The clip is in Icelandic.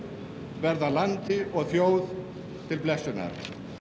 verða landi og þjóð til blessunar